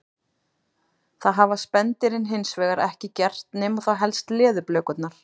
Það hafa spendýrin hins vegar ekki gert nema þá helst leðurblökurnar.